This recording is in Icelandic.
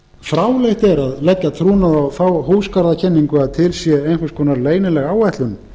fráleitt er að leggja trúnað á þá húsagarðakenningu að til sé einhvers konar leynileg áætlun